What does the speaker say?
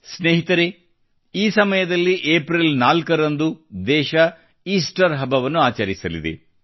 ಸ್ನೇಹಿತರೇ ಈ ಸಮಯದಲ್ಲಿ ಏಪ್ರಿಲ್ 4 ರಂದು ದೇಶವು ಈಸ್ಟರ್ ಹಬ್ಬವನ್ನು ಆಚರಿಸಲಿದೆ